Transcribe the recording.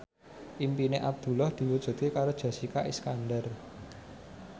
impine Abdullah diwujudke karo Jessica Iskandar